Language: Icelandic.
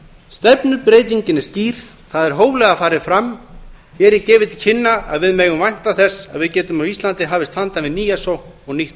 stefnubreytingin er skýr það er hóflega farið fram hér er gefið til kynna að við megum vænta þess að við getum á íslandi hafist handa við nýja sókn og nýtt